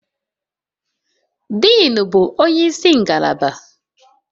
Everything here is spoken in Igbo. Diin, bụ onye isi ngalaba